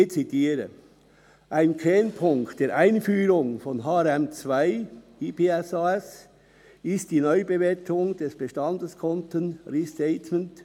Ich zitiere: «Ein Kernpunkt der Einführung von HRM2/IPSAS ist die Neubewertung der Bestandeskonten (Restatement).